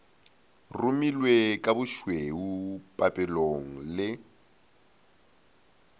rumilwe ka bošweu papelong le